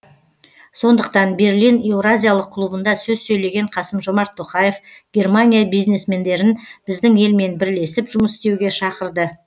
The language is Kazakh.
сондықтан берлин еуразиялық клубында сөз сөйлеген қасым жомарт тоқаев германия бизнесмендерін біздің елмен бірлесіп жұмыс істеуге шақырды